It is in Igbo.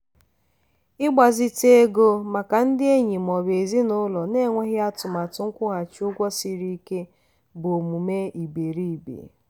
ịgbazite ego maka ndị enyi ma ọ bụ ezinụlọ na-enweghị atụmatụ nkwụghachi ụgwọ siri ike bụ omume iberiibe.